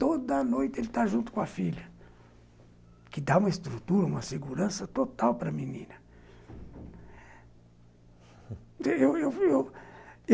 Toda noite ele está junto com a filha, o que dá uma estrutura, uma segurança total para a menina eu, eu